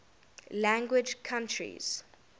language countries